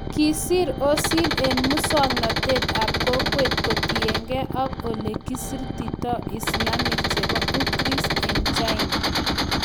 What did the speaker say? Kisir Ozil en muswonoktet ab kokwet kotienge ak ole kiseretitoi islamiek chebo Uighurs en China.